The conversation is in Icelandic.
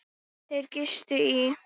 Þeir gistu í